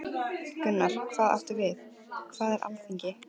Gunnar: Hvað áttu við, hvað er að Alþingi?